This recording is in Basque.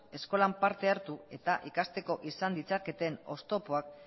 eskolan parte hartu eta ikasteko izan ditzaketen oztopoak